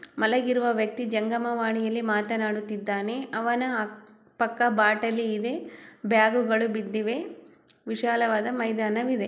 ಮಲಗಿರುವ ವ್ಯಕ್ತಿ ಜಂಗಮವಾಣಿಯಲ್ಲಿ ಮಾತನಾಡುತ್ತಿದ್ದಾನೆ ಅವನ ಪಕ್ಕ ಬಾಟಲಿ ಇದೆ ಬ್ಯಾಗುಗಳು ಬಿದ್ದಿವೆ ವಿಶಾಲವಾದ ಮೈದಾನವಿದೆ.